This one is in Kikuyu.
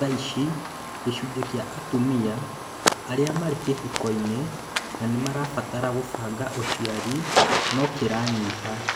Thaici gĩcunjĩ kĩa atumia arĩa marĩ kĩhiko-inĩ na nĩmarabatara kũbanga ũciari no kĩranyiha